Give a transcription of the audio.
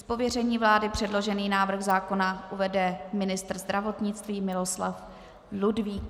Z pověření vlády předložený návrh zákona uvede ministr zdravotnictví Miloslav Ludvík.